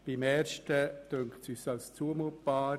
Die Reduktion von 80 auf 75 Franken erscheint uns als zumutbar.